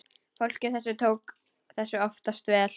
Fólkið tók þessu oftast vel.